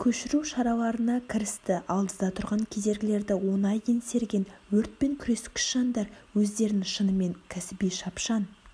көшіру шараларына кірісті алдыда тұрған кедергілерді оңай еңсерген өртпен күрескіш жандар өздерінің шынымен кәсіби шапшан